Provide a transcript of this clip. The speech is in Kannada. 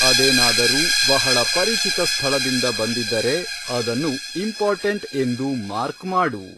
ಅದೇನಾದರೂ ಬಹಳ ಪರಿಚಿತ ಸ್ಥಳದಿಂದ ಬಂದಿದ್ದರೆ ಅದನ್ನು ,ಇಂಪಾರ್ಟೆಂಟ್, ಎಂದು ಮಾರ್ಕ್ ಮಾಡು